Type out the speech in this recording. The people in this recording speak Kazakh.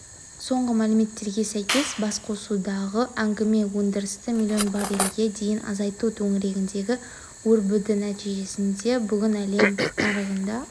соңғы мәліметтерге сәйкес басқосудағы әңгіме өндірісті млн баррельге дейін азайту төңірегінде өрбіді нәтижесінде бүгін әлем нарығында